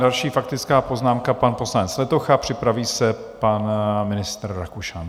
Další faktická poznámka pan poslanec Letocha, připraví se pan ministr Rakušan.